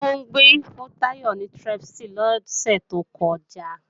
Funbí fún Táyọ̀ ní Strepsil lọ́sẹ̀ tó kọjá